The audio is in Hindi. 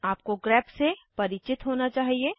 आपको ग्रेप से परिचित होना चाहिए